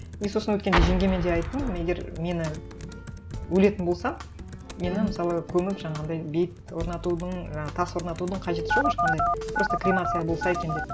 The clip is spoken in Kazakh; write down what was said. и сосын өткенде жеңгеме де айттым егер мені өлетін болсам мені мысалы көміп жаңағындай бейіт орнатудың жаңағы тас орнатудың қажеті жоқ ешқандай просто кремация болса екен деп